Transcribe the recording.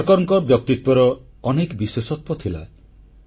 ସାବରକରଙ୍କ ବ୍ୟକ୍ତିତ୍ୱର ଅନେକ ବିଶେଷତ୍ୱ ଥିଲା